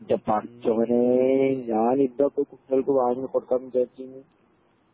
ഇൻ്റെ പടച്ചോനെ ഞാനിപ്പോ അത് കുട്ട്യേൾക്ക് വാങ്ങികൊടുക്കാന്ന് വിചാരിച്ചിന്ന്